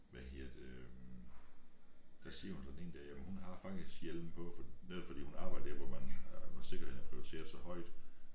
Hvad hedder det der siger hun så den ene dag jamen hun har faktisk hjelm på for netop fordi hun arbejder der hvor man øh hvor sikkerheden er prioriteret så højt